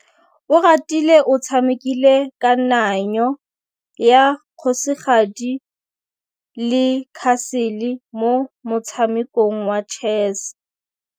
Oratile o tshamekile kananyô ya kgosigadi le khasêlê mo motshamekong wa chess.